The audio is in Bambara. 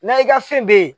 Na i ka fɛn be ye